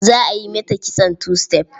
Za a yi mata kitson two step.